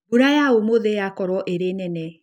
Mbura ya ũmũthĩ yakorwo ĩrĩ nene.